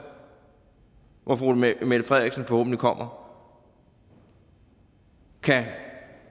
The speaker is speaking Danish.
hvor fru mette frederiksen forhåbentlig kommer kan